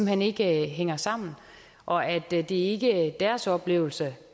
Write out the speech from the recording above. hen ikke hænger sammen og at det det ikke er deres oplevelse